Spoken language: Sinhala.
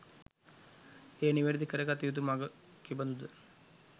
එය නිවැරැදි කරගත යුතු මඟ කෙබඳුද